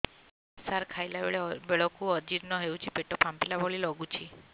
ସାର ଖାଇଲା ବେଳକୁ ଅଜିର୍ଣ ହେଉଛି ପେଟ ଫାମ୍ପିଲା ଭଳି ଲଗୁଛି